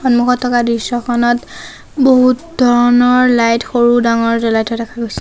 সন্মুখত থকা দৃশ্যখনত বহুত ধৰণৰ লাইট সৰু ডাঙৰ জ্বলাই থোৱা দেখা গৈছে।